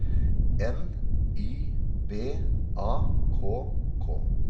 N Y B A K K